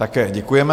Také děkujeme.